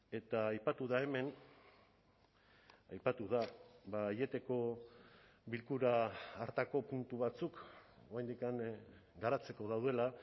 eta aipatu da hemen aipatu da aieteko bilkura hartako puntu batzuk oraindik garatzeko daudela